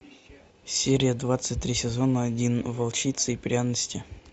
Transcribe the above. серия двадцать три сезон один волчица и пряности